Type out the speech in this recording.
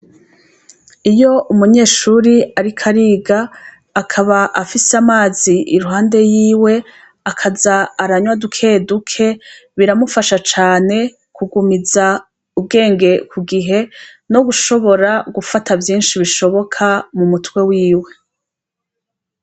Iyo umunyeshuri, ariko ariga akaba afise amazi iruhande yiwe akaza aranywa dukeduke biramufasha cane kugumiza ubwenge ku gihe no gushobora gufata vyinshi bishoboka mu mutwe wiwe.